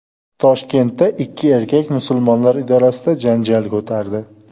Toshkentda ikki erkak Musulmonlar idorasida janjal ko‘tardi.